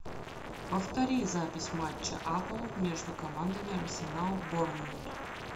повтори запись матча апл между командами арсенал борнмут